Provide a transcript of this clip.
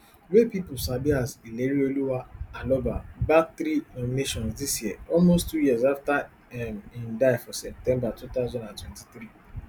wey pipo sabi as ilerioluwa aloba bag three nominations dis year almost two years afta um im die for september two thousand and twenty-three